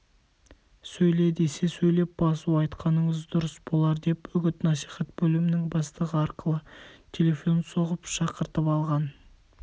сөйле десе сөйлеп басу айтқаныңыз дұрыс болар деп үгіт-насихат бөлімінің бастығы арқылы телефон соғып шақыртып алған